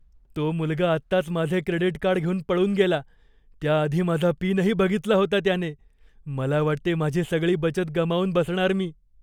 तो मुलगा आत्ताच माझे क्रेडिट कार्ड घेऊन पळून गेला. त्याआधी माझा पिनही बघितला होता त्याने. मला वाटते माझी सगळी बचत गमावून बसणार मी.